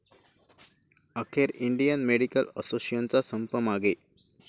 अखेर Indian medical असोसिएशनचा संप मागे